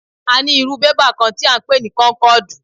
A ní irú bébà kán tí à ń pè ní kónkọ̀dù.